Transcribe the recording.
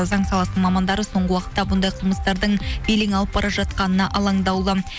заң саласының мамандары соңғы уақытта бұндай қылмыстардың белең алып бара жатқанына алаңдаулы